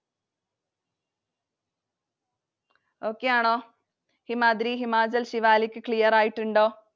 Okay ആണോ? Himadri, Himachal, Shivalik clear ആയിട്ടുണ്ടോ?